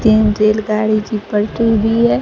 तीन रेलगाड़ी की पलटी हुई है।